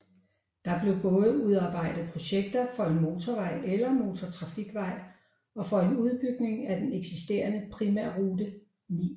Der blev både udarbejdet projekter for en motorvej eller motortrafikvej og for en udbygning af den eksisterende Primærrute 9